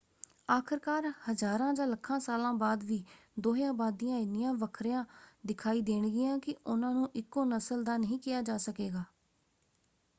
ਆਖਰਕਾਰ ਹਜ਼ਾਰਾਂ ਜਾਂ ਲੱਖਾਂ ਸਾਲਾਂ ਬਾਅਦ ਵੀ ਦੋਹੇਂ ਅਬਾਦੀਆਂ ਇੰਨੀਆਂ ਵੱਖਰਆਂ ਦਿਖਾਈ ਦੇਣਗੀਆਂ ਕਿ ਉਨ੍ਹਾਂ ਨੂੰ ਇੱਕੋ ਨਸਲ ਦਾ ਨਹੀਂ ਕਿਹਾ ਜਾ ਸਕੇਗਾ।